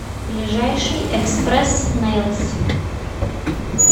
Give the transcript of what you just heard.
ближайший экспресснэилс